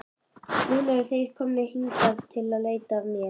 Núna eru þeir komnir hingað að leita mín.